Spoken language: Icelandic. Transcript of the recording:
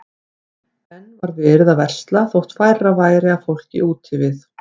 Enn var verið að versla þótt færra væri af fólki úti við.